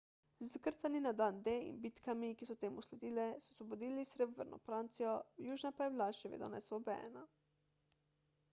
z izkrcanji na dan d in bitkami ki so temu sledile so osvobodili severno francijo južna pa je bila še vedno neosvobojena